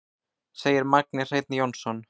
Segir Magni Hreinn Jónsson.